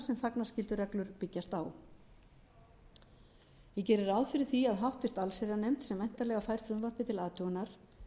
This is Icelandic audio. sem þagnarskyldureglur byggjast á ég geri ráð fyrir því að háttvirta allsherjarnefnd sem væntanlega fær frumvarpið til athugunar